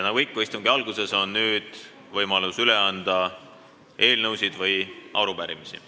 Nagu ikka on istungi alguses võimalus üle anda eelnõusid ja arupärimisi.